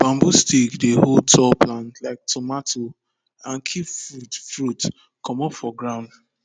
bamboo stick dey hold tall plant like tomato and keep fruit fruit comot for ground